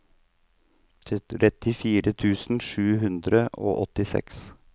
trettifire tusen sju hundre og åttiseks